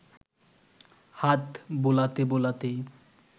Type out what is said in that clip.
হাত বোলাতে বোলাতে